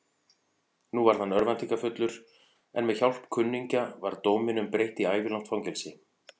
Nú varð hann örvæntingarfullur, en með hjálp kunningja var dóminum breytt í ævilangt fangelsi.